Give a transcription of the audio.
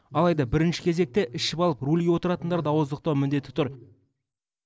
алайда бірінші кезекте ішіп алып рөлге отыратындарды ауыздықтау міндеті тұр